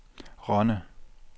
Rønne